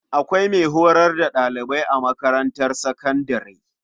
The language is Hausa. Akwai mai horar da ɗalibai a makarantar sakandare.